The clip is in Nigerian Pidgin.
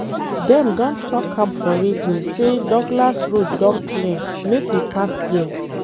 Dem don talk am for radio sey Douglas road don clear, make we pass there.